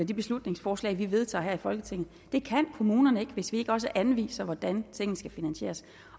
de beslutningsforslag vi vedtager her i folketinget det kan kommunerne ikke hvis vi ikke også anviser hvordan tingene skal finansieres